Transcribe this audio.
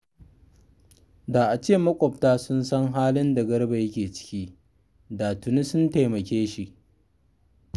Da a ce maƙwabta sun san halin da Garba yake ciki, da tuni sun taimake shi